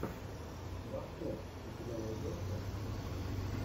бобкофф у тебя найдется